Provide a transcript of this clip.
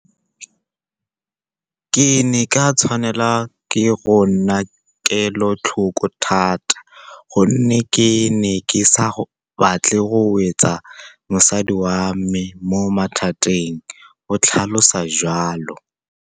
Ke ne ka tshwanelwa ke go nna kelotlhoko thata gonne ke ne ke sa batle go wetsa mosadi wa me mo mathateng, o tlhalosa jalo.